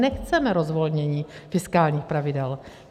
Nechceme rozvolnění fiskálních pravidel.